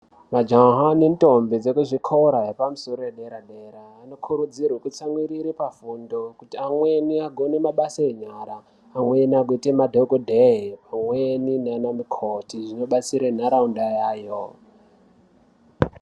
Majaha nendombi zvekuzvikora zvedera dera anokurudzirwa kutsamwirira pafundo kuti amweni kune basa enyara amweni agoita madhokodheya amweni ana mukoti izvi zvinobatsira nharaunda yawo.